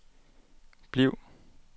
bliv